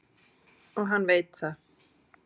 Og hann veit það.